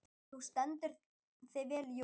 Þú stendur þig vel, Jónar!